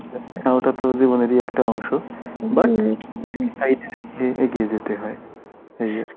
অতাত জীবনেরই একটা অংশ but এগিয়ে যেতে হয় এই আর কি